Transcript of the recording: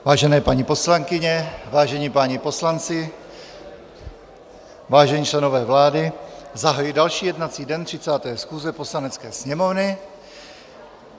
Vážené paní poslankyně, vážení páni poslanci, vážení členové vlády, zahajuji další jednací den 30. schůze Poslanecké sněmovny.